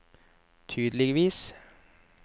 tydeligvis